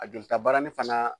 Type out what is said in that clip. A jolita baaranin fana